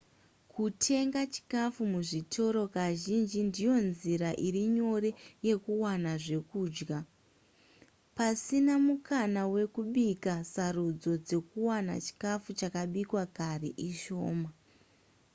kutenga chikafu muzvitoro kazhinji ndiyo nzira iri nyore yekuwana zvekudya pasina mukana wekubika sarudzo dzekuwana chikafu chakabikwa kare ishoma